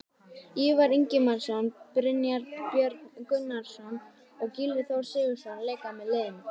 Ívar Ingimarsson, Brynjar Björn Gunnarsson og Gylfi Þór Sigurðsson leika með liðinu.